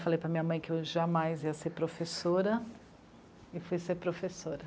Falei para a minha mãe que eu jamais ia ser professora e fui ser professora.